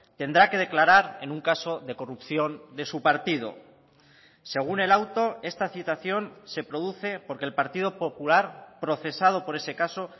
tendrá que declarar en un caso de corrupción de su partido según el auto esta citación se produce porque el partido popular procesado por ese caso